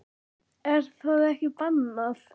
Er það ekki bannað?